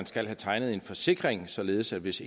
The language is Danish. skal tegne en forsikring således at hvis